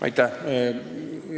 Aitäh!